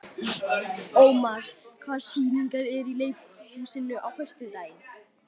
Ómar, hvaða sýningar eru í leikhúsinu á föstudaginn?